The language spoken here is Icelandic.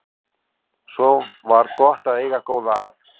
Svo var gott að eiga góða að.